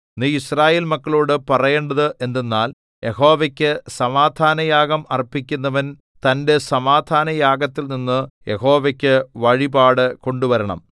നീ യിസ്രായേൽ മക്കളോടു പറയേണ്ടത് എന്തെന്നാൽ യഹോവയ്ക്കു സമാധാനയാഗം അർപ്പിക്കുന്നവൻ തന്റെ സമാധാനയാഗത്തിൽനിന്ന് യഹോവയ്ക്കു വഴിപാട് കൊണ്ടുവരണം